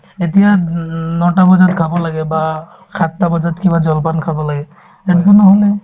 এতিয়া ও ও নটা বজাত খাব লাগে বা সাতটা বজাত কিবা জলপান খাব লাগে সেইটোতো নহলেই